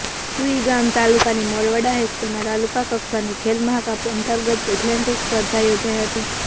સુઇગામ તાલુકાની મોરવાડા હાઈસ્કૂલમાં તાલુકા કક્ષાની ખેલ મહાકુંભ અંતર્ગત એથ્લેટીક્સ સ્પર્ધા યોજાઈ હતી